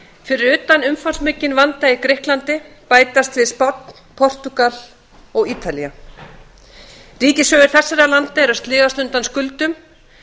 fyrir utan umfangsmikinn vanda í grikklandi bætast við spánn portúgal og ítalía ríkissjóðir þessara landa eru að sligast undan skuldum